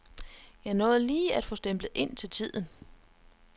Jeg nåede lige at få stemplet ind til tiden.